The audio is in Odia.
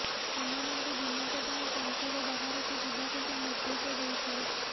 ସେମାନଙ୍କୁ ଦିନକ ପାଇଁ ସଂସଦ ବାହାରକୁ ଯିବାକୁ ସେ ନିର୍ଦ୍ଦେଶ ଦେଇଥିଲେ